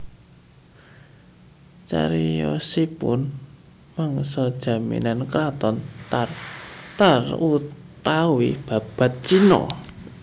Cariyosipun mangsa jaman Kraton Tar tar utawi Babad Cina